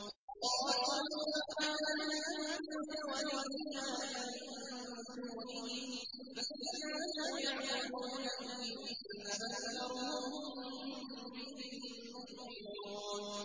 قَالُوا سُبْحَانَكَ أَنتَ وَلِيُّنَا مِن دُونِهِم ۖ بَلْ كَانُوا يَعْبُدُونَ الْجِنَّ ۖ أَكْثَرُهُم بِهِم مُّؤْمِنُونَ